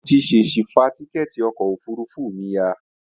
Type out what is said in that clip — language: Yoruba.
Mo ti ṣèṣi fa tíkẹ́ẹ̀tì ọkọ̀ òfurufú mi ya